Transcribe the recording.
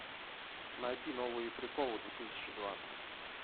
найти новые приколы две тысячи двадцать